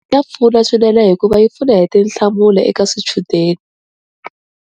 Ya pfuna swinene hikuva yi pfuna hi tinhlamulo eka swichudeni.